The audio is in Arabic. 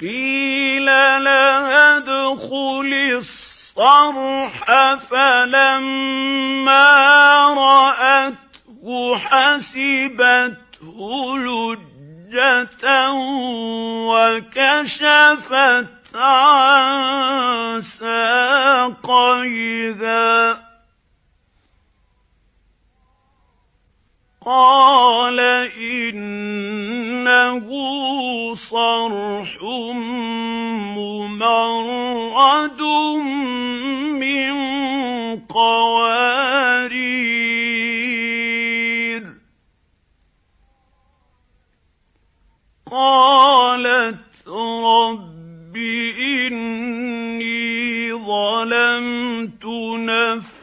قِيلَ لَهَا ادْخُلِي الصَّرْحَ ۖ فَلَمَّا رَأَتْهُ حَسِبَتْهُ لُجَّةً وَكَشَفَتْ عَن سَاقَيْهَا ۚ قَالَ إِنَّهُ صَرْحٌ مُّمَرَّدٌ مِّن قَوَارِيرَ ۗ قَالَتْ رَبِّ إِنِّي ظَلَمْتُ نَفْسِي